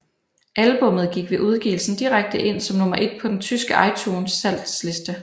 Albummet gik ved udgivelsen direkte ind som nummer ét på den tyske iTunes salgsliste